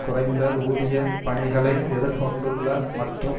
குறைந்த ஊதிய பணிகளை எதிர் கொண்டுள்ள மற்றும்